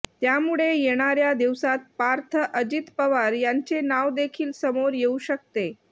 त्यामुळे येणाऱ्या दिवसात पार्थ अजित पवार यांचे नाव देखील समोर येऊ शकते